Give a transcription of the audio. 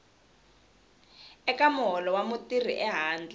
eka muholo wa mutirhi ehandle